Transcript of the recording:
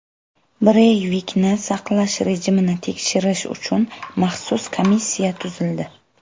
Breyvikni saqlash rejimini tekshirish uchun maxsus komissiya tuzildi.